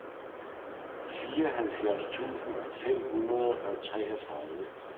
fireoghalvfjerds tusind fem hundrede og treogtredive